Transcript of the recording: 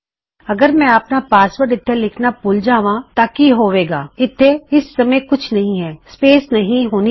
ਅਗਰ ਮੈਂ ਆਪਣਾ ਪਾਸਵਰਡ ਇਥੇ ਲਿਖਣਾ ਭੁਲ ਜਾਂਵਾ ਤਾਂ ਕੀ ਹੋਵੇਗਾ ਇਥੇ ਇਸ ਸਮੇ ਕੁਝ ਨਹੀ ਹੈ ਸਪੇਸ ਨਹੀ ਹੋਣੀ ਚਾਹੀਦੀ - ਇਸ ਨੂੰ ਹਟਾ ਦਵੋ